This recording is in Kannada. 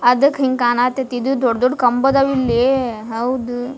ಅದಕ್ ಹಿಂಗ್ ಕಾಣತಿತ್ ಇದ್ ದೊಡ್ ದೊಡ್ ಕಂಬದ್ದವ್ ಇಲ್ಲೀ ಹೌದು.